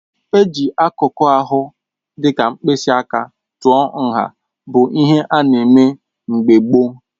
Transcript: Ịji akụkụ ahụ dịka mkpịsị aka tụọ nha bụ ihe ana eme mgbe gboo.